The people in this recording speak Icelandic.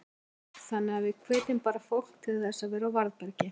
Jóhann: Þannig að við hvetjum bara fólk til þess að vera á varðbergi?